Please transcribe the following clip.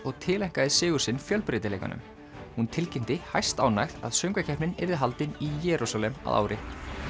og tileinkaði sigur sinn fjölbreytileikanum hún tilkynnti hæstánægð að söngvakeppnin yrði haldin í Jerúsalem að ári